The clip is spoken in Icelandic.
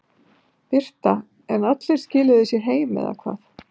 Birta: En allir skiluðu sér heim eða hvað?